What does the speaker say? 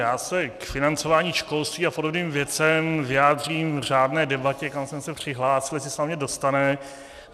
Já se k financování školství a podobným věcem vyjádřím v řádné debatě, kam jsem se přihlásil, jestli se na mě dostane.